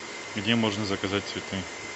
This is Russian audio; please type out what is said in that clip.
где можно заказать цветы